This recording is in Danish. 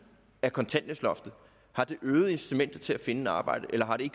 af kontanthjælpsloftet øget incitamentet til at finde et arbejde eller har det